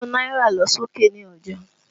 Owó náírà lọ sókè ní ọjà